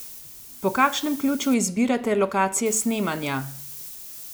Po kakšnem ključu izbirate lokacije snemanja?